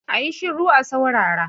A yi shiru a saurara!